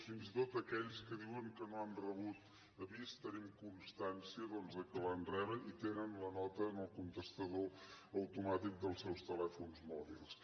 fins i tot d’aquells que diuen que no han rebut l’avís tenim constància doncs que el van rebre i que tenen la nota en el contestador automàtic dels seus telèfons mòbils